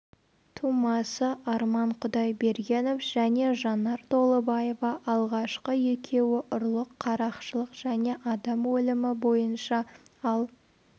тумасы арман құдайбергенов және жанар толыбаева алғашқы екеуі ұрлық қарақшылық және адам өлімі бойынша ал